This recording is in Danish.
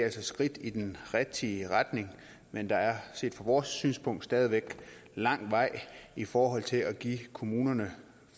et skridt i den rigtige retning men der er set fra vores synspunkt stadig væk lang vej i forhold til at give kommunerne